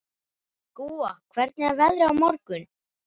Gúa, hvernig er veðrið á morgun?